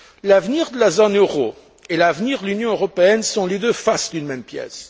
L'avenir de la zone euro et l'avenir de l'Union européenne sont les deux faces d'une même pièce.